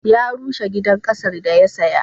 Ya rushe gidan ƙasar da ya saya.